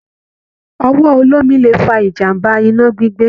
Ọwọ olómi lè fa ìjàmbá iná gbígbé.